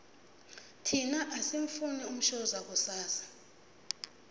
thina asimufuni umshoza kusasa